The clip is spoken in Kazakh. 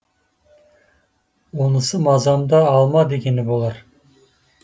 онысы мазамды алма дегені болар